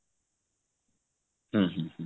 ହୁଁ ହୁଁ ହୁଁ